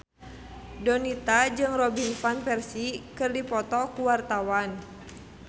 Donita jeung Robin Van Persie keur dipoto ku wartawan